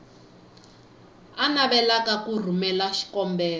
a navelaka ku rhumela xikombelo